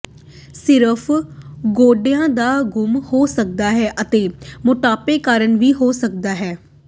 ਸਿਰਫ਼ ਗੋਡਿਆਂ ਦਾ ਗੁੰਮ ਹੋ ਸਕਦਾ ਹੈ ਅਤੇ ਮੋਟਾਪੇ ਕਾਰਨ ਵੀ ਹੋ ਸਕਦਾ ਹੈ